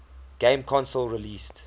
game console released